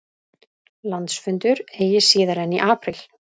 Landsfundur eigi síðar en í apríl